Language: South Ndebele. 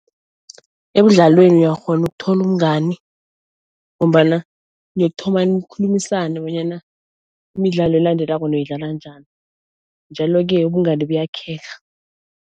Emidlalweni uyakghona ukuthola umngani ngombana niyokuthoma nikhulumisane bonyana imidlalo elandelako noyidlala njani, njalo-ke ubungani buyakheka.